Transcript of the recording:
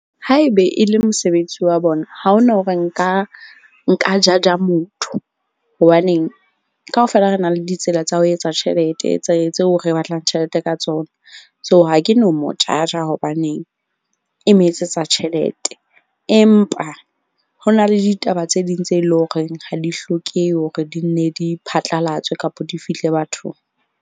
Haebe e le mosebetsi wa bona, ha ho na hore nka judge-a motho, hobaneng kaofela re na le ditsela tsa ho etsa tjhelete tse tseo re batlang tjhelete ka tsona. So, ha ke no mo judge-a hobaneng e mo etsetsa tjhelete. Empa ho na le ditaba tse ding tse leng horeng ha di hlokehe hore di nne di phatlalatswe kapa di fihle bathong.